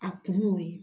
A kun y'o ye